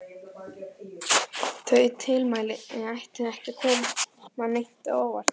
Þau tilmæli ættu ekki að koma neinum á óvart.